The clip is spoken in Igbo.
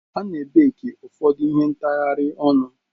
A ne baki ụfọdụ ihe ntghari onu.